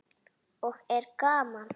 Og er gaman?